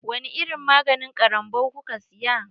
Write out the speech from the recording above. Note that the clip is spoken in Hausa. Wani irin maganin ƙarambau kuka siya.